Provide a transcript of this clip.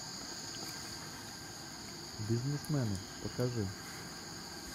бизнесмены покажи